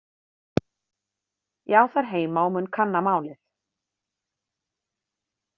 Ég á þær heima og mun kanna málið.